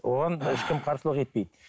оған ешкім қарсылық етпейді